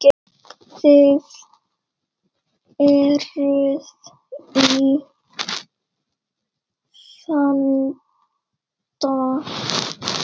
Þið eruð í vanda.